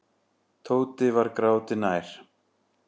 Tóti var gráti nær.